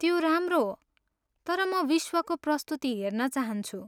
त्यो राम्रो हो, तर म विश्वको प्रस्तुति हेर्न चाहन्छु।